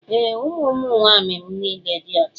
Ee, ụmụ nwaanyị m niile dị ọcha